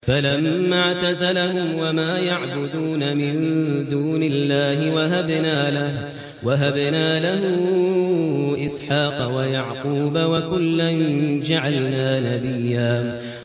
فَلَمَّا اعْتَزَلَهُمْ وَمَا يَعْبُدُونَ مِن دُونِ اللَّهِ وَهَبْنَا لَهُ إِسْحَاقَ وَيَعْقُوبَ ۖ وَكُلًّا جَعَلْنَا نَبِيًّا